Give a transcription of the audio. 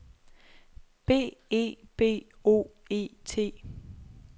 B E B O E T